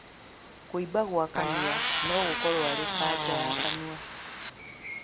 Kũimba gwa kanua nogũkorwo arĩ kanja ya kanua